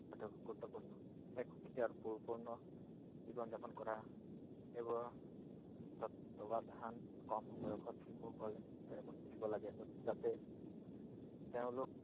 টো গুৰুত্বপূৰ্ণ। এক সুখী আৰু পৰিপূৰ্ণ জীৱন যাপন কৰা সেইবোৰৰ তত্ত্বাৱধান কম বয়সত শিশু সকলে শিকিব লাগে। যাতে তেওঁলোক